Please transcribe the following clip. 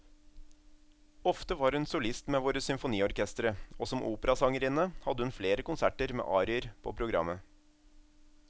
Ofte var hun solist med våre symfoniorkestre, og som operasangerinne hadde hun flere konserter med arier på programmet.